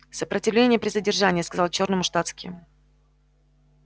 сопротивление при задержании сказал чёрному штатский